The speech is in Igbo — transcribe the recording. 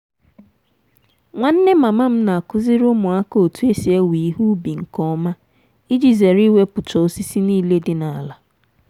nwanne mama m na-akụziri ụmụaka otu esi ewe ihe ubi nke ọma iji zere iwepucha osisi niile di n'ala.